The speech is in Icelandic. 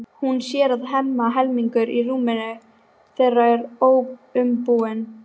Hún sér að Hemma helmingur í rúminu þeirra er óumbúinn.